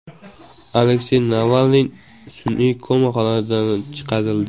Aleksey Navalniy sun’iy koma holatidan chiqarildi.